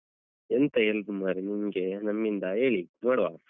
ಎಂತ help ಮಾರ್ರೇ ನಿಮ್ಗೆ ನಮ್ಮಿಂದ, ಹೇಳಿ ನೋಡುವ.